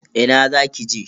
Ina za ki je?